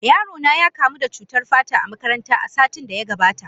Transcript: Yaro na ya kamu da cutar fata a makaranta, a satin da ya gabata.